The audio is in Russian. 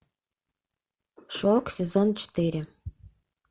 шок сезон четыре